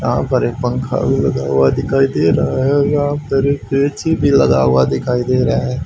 यहां पर एक पंखा भी लगा हुआ दिखाई दे रहा है यहां पर एक ए_सी भी लगा हुआ है दिखाई दे रहा है।